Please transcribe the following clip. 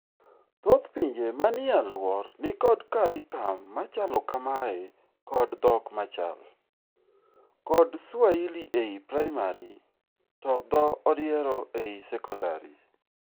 Thoth pinje manie aluor ni kod carricum machalo kamae kod dhok machal, kod swahili ei primary to dho odiero ei secondary.